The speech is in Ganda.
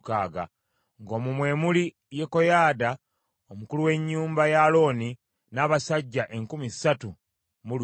ng’omwo mwe muli Yekoyaada omukulu w’ennyumba ya Alooni n’abasajja enkumi ssatu mu lusanvu;